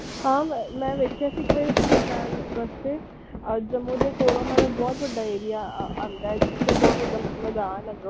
ਹਾਂ ਮੈਂ ਵੇਖੀ ਸੀ ਇਕ ਵਾਰੀ ਰਸਤੇ ਚ ਰਸਤੇ ਆਹ ਜੰਮੂ ਦੇ ਕੋਲੋਂ ਓਹਨਾ ਦਾ ਬਹੁਤ ਵੱਡਾ area ਆਹ ਆਉਂਦਾ ਹੈ ਜਿਥੇ ਬਹੁਤ ਵੱਡਾ ਮੈਦਾਨ ਹੈ।